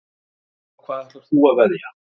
Á hvað ætlar þú að veðja?